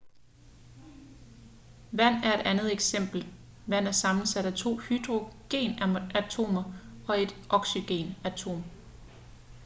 vand er et andet eksempel vand er sammensat af to hydrogenatomer og et oxygenatom